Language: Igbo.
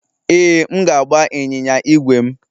Ee, m ga-agba ịnyịnya ígwè m.